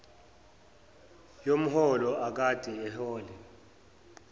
yomholo akade ewuhola